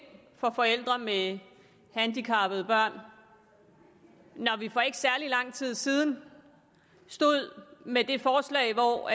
for forældre med handicappede børn når vi for ikke særlig lang tid siden stod med det forslag hvor